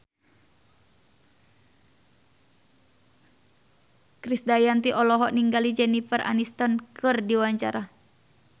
Krisdayanti olohok ningali Jennifer Aniston keur diwawancara